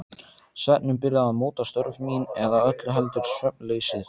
Svefninn byrjaði að móta störf mín- eða öllu heldur svefnleysið.